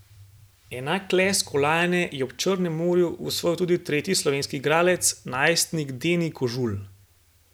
Enak lesk kolajne je ob Črnem morju osvojil tudi tretji slovenski igralec, najstnik Deni Kožul.